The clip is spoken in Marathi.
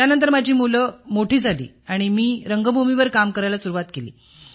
त्यानंतर माझी मुले मोठी झाली आणि मी रंगभूमीवर काम करायला सुरुवात केली